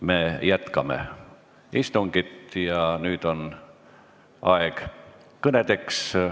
Me jätkame istungit ja nüüd on kõnede aeg.